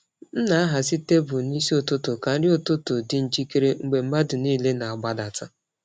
M na-ahazi tebụl n’isi ụtụtụ ka nri ụtụtụ dị njikere mgbe mmadụ niile na-agbadata.